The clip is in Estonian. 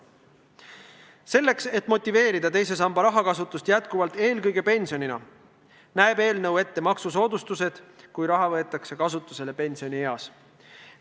Selleks, et motiveerida teise samba raha kasutamist edaspidigi eelkõige pensionina, näeb eelnõu ette maksusoodustused puhuks, kui raha võetakse kasutusele pensionieas.